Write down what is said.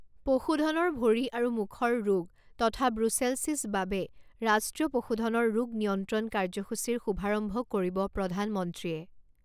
পশুধনৰ ভৰি আৰু মুখৰ ৰোগ তথা ব্ৰূছেলছিছ বাবে ৰাষ্ট্ৰীয় পশুধনৰ ৰোগ নিয়ন্ত্ৰণ কাৰ্যসূচীৰ শুভাৰম্ভ কৰিব প্ৰধানমন্ত্ৰীয়ে